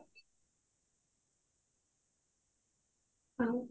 ଆଉ